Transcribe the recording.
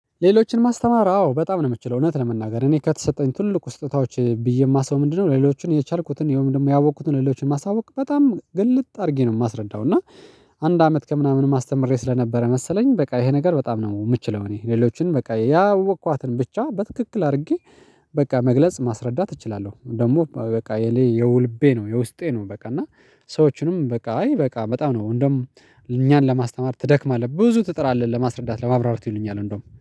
ሌሎችን ማስተማር አዎ በጣም ነው የምትችለው እውነት ለመናገር እኔ ከተሰጠኝ ትልቁ ስጦታዎች ብዬ የማስበው ምንድነው? ለሌሎቹን የቻልኩትን የሆነ ደግሞ ያወቅኩትን ሌሎችን ማሳወቅ በጣም ግልጥ አድርጌ ነው የማስረዳው። እና አንድ አመት ከምናምንም አስተምሬ ስለነበረ መሰለኝ በቃ ይሄ ነገር በጣም ነው የምችለው። እኔ ሌሎችን በቃ ያወቅኳትን ብቻ በትክክል አድርጌ በቃ መግለጽ ማስረዳት እችላለሁ። ደግሞ በቃ የሌ የውልቤ ነው የውስጤ ነው። በቃ እና ሰዎችንም በቃ አይ በቃ በጣም ነው እንደውም እኛን ለማስተማር ትደክማለህ ብዙ ትጥራለህ ለማስረዳት ለማብራራት ይሉኛል እንደውም